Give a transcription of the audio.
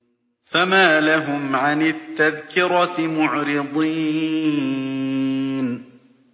فَمَا لَهُمْ عَنِ التَّذْكِرَةِ مُعْرِضِينَ